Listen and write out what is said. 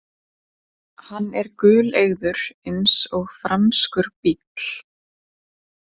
Hann er guleygður eins og franskur bíll